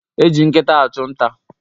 Eji nkita achụ nta